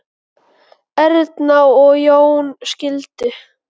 Erna og Jón skildu.